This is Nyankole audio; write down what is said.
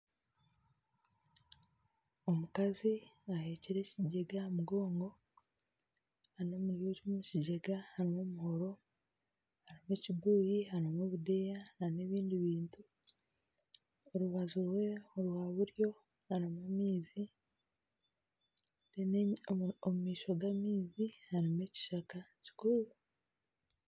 Omukazi ehekire ekijega aha mabega reero omu eki kijega harimu omuhoro harimu ekibuyi harimu obudeeya nana ebindi bintu orubaju rwe orwa buryo harimu amaizi omu maisho g'amaizi harimu ekishaka kikuru